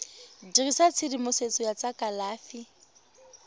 dirisa tshedimosetso ya tsa kalafi